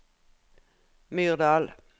Myrdal